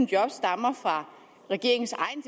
job stammer fra regeringens egne